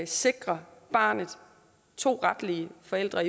sikrer barnet to retlige forældre